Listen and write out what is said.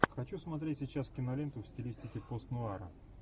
хочу смотреть сейчас киноленту в стилистике постнуара